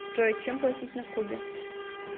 джой чем платить на кубе